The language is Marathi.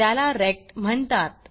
त्याला रेक्ट म्हणतात